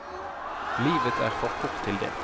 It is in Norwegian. Livet er for kort til det.